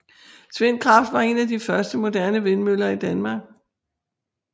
Tvindkraft var en af de første moderne vindmøller i Danmark